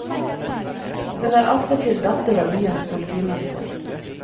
Hun er attpåtil datter av byens politimester.